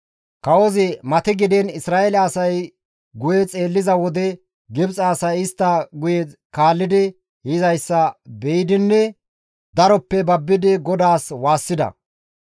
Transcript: Kawozi matigdiin Isra7eele asay guye xeelliza wode, Gibxe asay istta guyera kaalli yizayssa be7idinne daroppe babbidi GODAAS waassida.